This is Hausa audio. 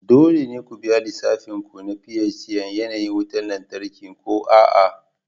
Dole ne ku biya lissafin ku na PHCN yanayin wutar lantarki ko a'a